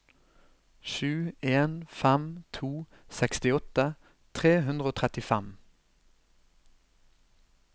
sju en fem to sekstiåtte tre hundre og trettifem